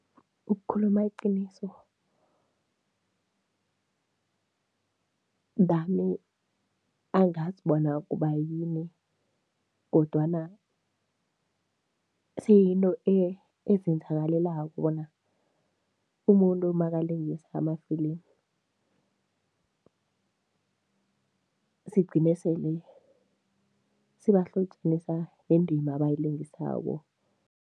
Ukukhuluma iqiniso, nami angazi bona kubayini kodwana seyinto ezenzakalelako bona umuntu makalingisa amafilimi sigcina sele sibahlotjanisa nendima abayilingisako.